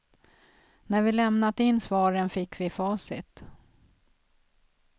När vi lämnat in svaren fick vi facit.